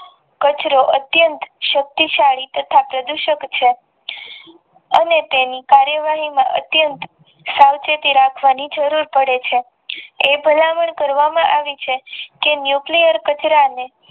કચરો અતયન્ત શક્તિ સાલી તથા પ્રદુષિત ઉપસ્ક અને તેની કાર્ય વહી માં અત્યંત સાવચેતી રાખવાની જરૂર પડે છે એ ભાલમાં કરવામાં આવી છે જે નુક્લીયડ કચરા અને